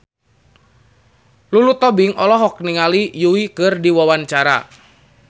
Lulu Tobing olohok ningali Yui keur diwawancara